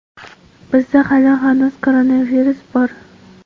Bizda hali hanuz koronavirus bor.